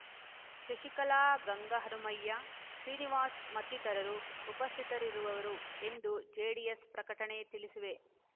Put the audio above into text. ಶಶಿಕಲಾ ಗಂಗಹನುಮಯ್ಯ ಶ್ರೀನಿವಾಸ್ ಮತ್ತಿತರರು ಉಪಸ್ಥಿತರಿರುವರು ಎಂದು ಜೆಡಿಎಸ್ ಪ್ರಕಟಣೆ ತಿಳಿಸಿದೆ